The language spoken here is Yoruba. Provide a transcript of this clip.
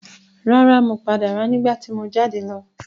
Rárá, mo pàdé rẹ̀ nígbà tí mo jáde lọ.